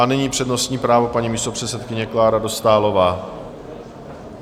A nyní přednostní právo paní místopředsedkyně Kláry Dostálové.